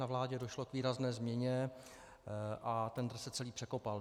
Na vládě došlo k výrazné změně a tendr se celý překopal.